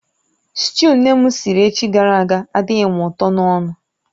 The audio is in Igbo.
Sịtịụ nne m siri echi gara aga adịghị m ụtọ n'ọnụ